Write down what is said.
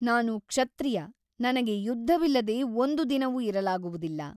ನಾನು ಕ್ಷತ್ರಿಯ ನನಗೆ ಯುದ್ಧವಿಲ್ಲದೆ ಒಂದು ದಿನವೂ ಇರಲಾಗುವುದಿಲ್ಲ.